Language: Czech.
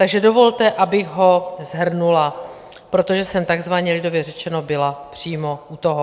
Takže dovolte, abych ho shrnula, protože jsem takzvaně lidově řečeno byla přímo u toho.